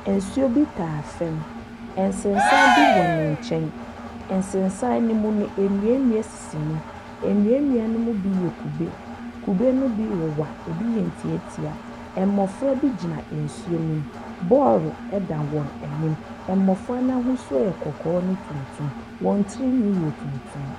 Nsuo bi taa fɛm, nsensam bi wɔ ne nkyɛn. Nsensan no mu no nua nua sisi mu, nua nua no mu bi yɛ kube. Kube no bi wowa, ɛbi yɛ ntiatia. Mmɔfra bi gyina nsuo no mu, bɔɔlo ɛda wɔn anim, mmɔfra no ahosuo yɛ kɔkɔɔ ɛne tuntum, wɔn tiri nwii yɛ tuntum.